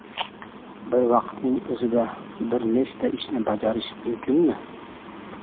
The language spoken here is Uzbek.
Bir vaqtning o‘zida bir nechta ishni bajarish mumkinmi?